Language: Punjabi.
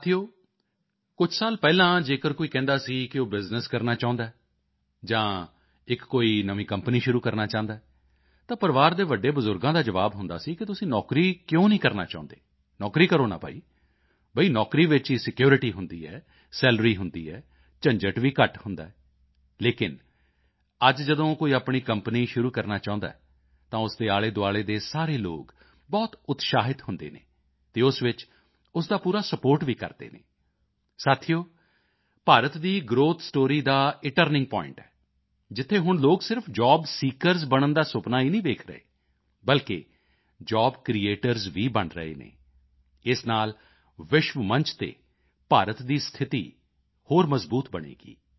ਸਾਥੀਓ ਕੁਝ ਸਾਲ ਪਹਿਲਾਂ ਜੇਕਰ ਕੋਈ ਕਹਿੰਦਾ ਸੀ ਕਿ ਉਹ ਬਿਜ਼ਨੈੱਸ ਕਰਨਾ ਚਾਹੁੰਦਾ ਹੈ ਜਾਂ ਇੱਕ ਕੋਈ ਨਵੀਂ ਕੰਪਨੀ ਸ਼ੁਰੂ ਕਰਨਾ ਚਾਹੁੰਦਾ ਹੈ ਤਾਂ ਪਰਿਵਾਰ ਦੇ ਵੱਡੇ ਬਜ਼ੁਰਗਾਂ ਦਾ ਜਵਾਬ ਹੁੰਦਾ ਸੀ ਕਿ ਤੁਸੀਂ ਨੌਕਰੀ ਕਿਉਂ ਨਹੀਂ ਕਰਨਾ ਚਾਹੁੰਦੇ ਨੌਕਰੀ ਕਰੋ ਨਾ ਭਾਈ ਬਈ ਨੌਕਰੀ ਵਿੱਚ ਹੀ ਸਿਕਿਉਰਿਟੀ ਹੁੰਦੀ ਹੈ ਸੈਲਰੀ ਹੁੰਦੀ ਹੈ ਝੰਜਟ ਵੀ ਘੱਟ ਹੁੰਦਾ ਹੈ ਲੇਕਿਨ ਅੱਜ ਜਦੋਂ ਕੋਈ ਆਪਣੀ ਕੰਪਨੀ ਸ਼ੁਰੂ ਕਰਨਾ ਚਾਹੁੰਦਾ ਹੈ ਤਾਂ ਉਸ ਦੇ ਆਲੇਦੁਆਲੇ ਦੇ ਸਾਰੇ ਲੋਕ ਬਹੁਤ ਉਤਸ਼ਾਹਿਤ ਹੁੰਦੇ ਹਨ ਅਤੇ ਉਸ ਵਿੱਚ ਉਸ ਦਾ ਪੂਰਾ ਸਪੋਰਟ ਵੀ ਕਰਦੇ ਹਨ ਸਾਥੀਓ ਭਾਰਤ ਦੀ ਗ੍ਰੋਥ ਸਟੋਰੀ ਦਾ ਇਹ ਟਰਨਿੰਗ ਪੁਆਇੰਟ ਹੈ ਜਿੱਥੇ ਹੁਣ ਲੋਕ ਸਿਰਫ਼ ਜੋਬ ਸੀਕਰਜ਼ ਬਣਨ ਦਾ ਸੁਪਨਾ ਹੀ ਨਹੀਂ ਦੇਖ ਰਹੇ ਬਲਕਿ ਜੋਬ ਕ੍ਰਿਏਟਰਜ਼ ਵੀ ਬਣ ਰਹੇ ਹਨ ਇਸ ਨਾਲ ਵਿਸ਼ਵ ਮੰਚ ਤੇ ਭਾਰਤ ਦੀ ਸਥਿਤੀ ਹੋਰ ਮਜ਼ਬੂਤ ਬਣੇਗੀ